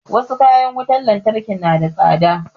Wasu kayan wutar lantarki na da tsada